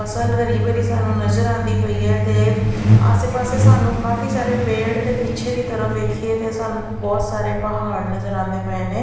ਫਸਲ ਹਰੀ ਭਰੀ ਸਾਨੂੰ ਨਜ਼ਰ ਆਉਂਦੀ ਪਈ ਆ ਤੇ ਆਸੇ ਪਾਸੇ ਸਾਨੂੰ ਕਾਫੀ ਸਾਰੇ ਪੇੜ ਤੇ ਪਿੱਛੇ ਦੀ ਤਰਫ ਵੇਖੀਏ ਤੇ ਸਾਨੂੰ ਬਹੁਤ ਸਾਰੇ ਪਹਾੜ ਨਜ਼ਰ ਆਉਂਦੇ ਪਏ ਨੇ।